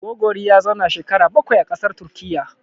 Gogori ya zauna shekara bakwai a ƙasar Turkiyya.